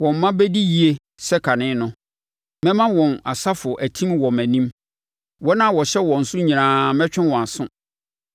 Wɔn mma bɛdi yie sɛ kane no, mɛma wɔn asafo atim wɔ mʼanim; wɔn a wɔhyɛ wɔn so nyinaa mɛtwe wɔn aso.